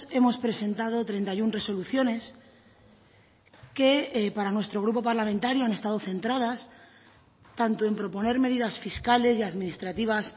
hemos presentado treinta y uno resoluciones que para nuestro grupo parlamentario han estado centradas tanto en proponer medidas fiscales y administrativas